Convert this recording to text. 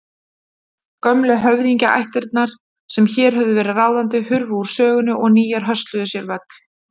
Gömlu höfðingjaættirnar sem hér höfðu verið ráðandi hurfu úr sögunni og nýjar hösluðu sér völl.